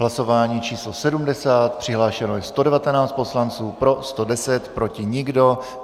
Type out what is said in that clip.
Hlasování číslo 70, přihlášeno je 119 poslanců, pro 110, proti nikdo.